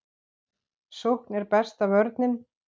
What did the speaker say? Sókn er besta vörnin.